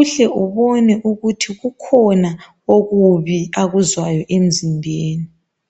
uhle ubone ukuthi ukhona okubi akuzwayo emzimbeni.